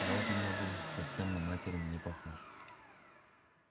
голос у нее был совсем на материн не похож